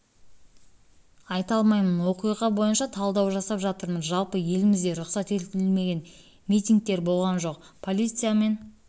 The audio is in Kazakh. айта алмаймын оқиға бойынша талдау жасап жатырмыз жалпы елімізде рұқсат етілмеген митигтер болған жоқ полициямен